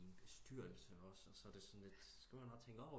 I en bestyrelse også og så er det sådan lidt